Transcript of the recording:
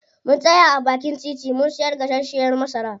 Mun tsaya a baakin titi mun siya gasashiyar masara.